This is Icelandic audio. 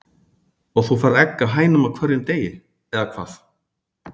Og þú færð egg af hænunum á hverjum degi, eða hvað?